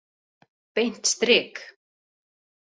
Beint strik!